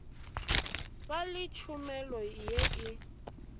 ba le tšhomelo ye e